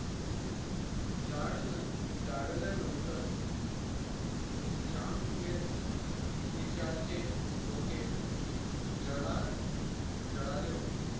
जाल जाळल्यानंतर जामखेड खेचायचे डोके जडा जळाले होते.